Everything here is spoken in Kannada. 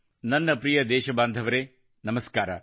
ನನ್ನ ಪ್ರಿಯ ದೇಶಬಾಂಧವರೆ ನಮಸ್ಕಾರ